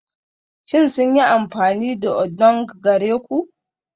Shin sun yi amfani da odunng gare ku?